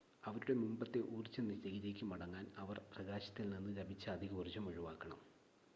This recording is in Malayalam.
അവരുടെ മുമ്പത്തെ ഊർജ്ജ നിലയിലേക്ക് മടങ്ങാൻ അവർ പ്രകാശത്തിൽ നിന്ന് ലഭിച്ച അധിക ഊർജ്ജം ഒഴിവാക്കണം